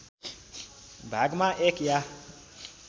भागमा एक या